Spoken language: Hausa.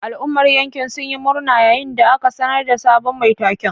Al'ummar yankin sun yi murna yayin da aka sanar da sabon mai taken.